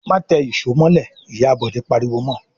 "Má tẹ ìṣó mọ́lẹ̀!" Ìyá Bọ̀dé pariwo mọ.